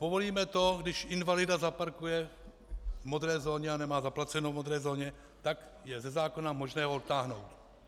Povolíme to, když invalida zaparkuje v modré zóně a nemá zaplaceno v modré zóně, tak je ze zákona možné ho odtáhnout.